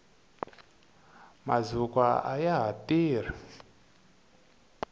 mazukwa ayaha tirhi